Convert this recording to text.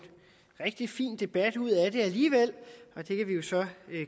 rigtig fin debat ud af det alligevel og det kan vi jo så